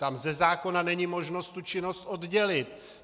Tam ze zákona není možnost tu činnost oddělit.